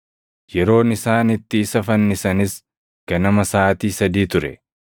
Yeroon isaan itti isa fannisanis ganama saʼaatii sadii ture.